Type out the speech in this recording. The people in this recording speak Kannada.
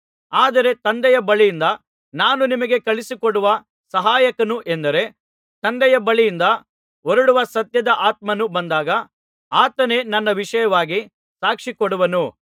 ಆದರೆ ತಂದೆಯ ಬಳಿಯಿಂದ ನಾನು ನಿಮಗೆ ಕಳುಹಿಸಿಕೊಡುವ ಸಹಾಯಕನು ಎಂದರೆ ತಂದೆಯ ಬಳಿಯಿಂದ ಹೊರಡುವ ಸತ್ಯದ ಆತ್ಮನು ಬಂದಾಗ ಆತನೇ ನನ್ನ ವಿಷಯವಾಗಿ ಸಾಕ್ಷಿ ಕೊಡುವನು